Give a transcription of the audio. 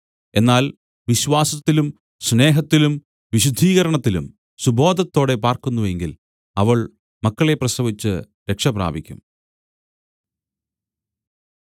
എന്നാൽ വിശ്വാസത്തിലും സ്നേഹത്തിലും വിശുദ്ധീകരണത്തിലും സുബോധത്തോടെ പാർക്കുന്നു എങ്കിൽ അവൾ മക്കളെ പ്രസവിച്ച് രക്ഷപ്രാപിക്കും